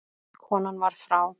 Konan var frá